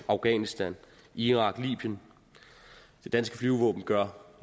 afghanistan irak og libyen det danske flyvevåben gør